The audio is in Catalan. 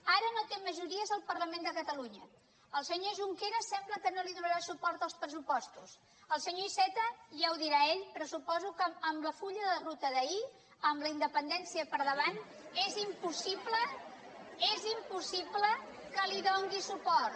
ara no té majories al parlament de catalunya el senyor junqueras sembla que no li donarà suport als pressupostos el senyor iceta ja ho dirà ell però suposo que amb el full de ruta d’ahir amb la independència per davant és impossible és impossible que li doni suport